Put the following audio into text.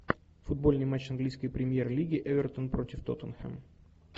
футбольный матч английской премьер лиги эвертон против тоттенхэм